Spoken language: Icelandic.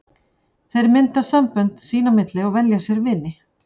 Þeir mynda sambönd sín á milli og velja sér vini.